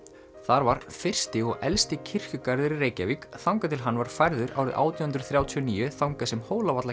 þar var fyrsti og elsti kirkjugarður í Reykjavík þangað til hann var færður árið átján hundruð þrjátíu og níu þangað sem